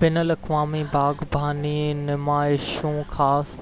بين الاقوامي باغباني نمائشون خاص